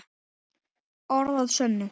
Orð að sönnu.